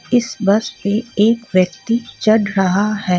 इस बस पे एक व्यक्ति चढ़ रहा है.